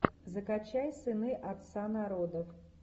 закачай сыны отца народов